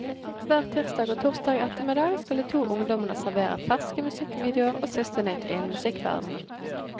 Hver tirsdag og torsdag ettermiddag skal de to ungdommene servere ferske musikkvideoer og siste nytt innen musikkverdenen.